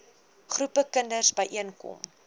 groepe kinders byeenkom